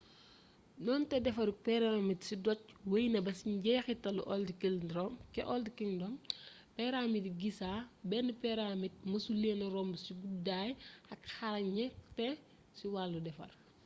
donte defarug pyramid ci doj wey na baa ci njeexital old kingdom pyramidi giza benn pyramd mësuleena romb ci guddaay ak xarañte ci wàllu defar